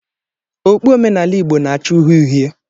okpu omenala igbo na-acha uhie uhie